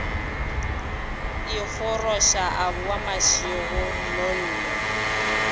ikgoroša a boa mašego nnono